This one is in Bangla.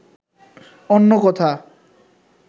অন্য কোথা